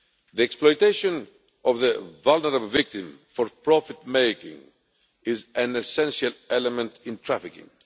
The exploitation of the vulnerable victim for profit making is an essential element in trafficking.